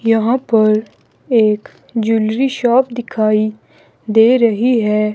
यहां पर एक ज्वेलरी शॉप दिखाई दे रही है।